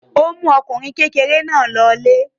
Ó mú ọmọkùnrin kékeré náà lọlé.